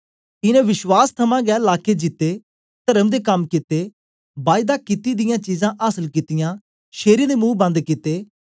इनें विश्वास दे गै थमां लाके जीते तर्म दे कम कित्ते बायदा कित्ती दियां चीजां आसल कित्तियां शेरें दे मुंह बंद कित्ते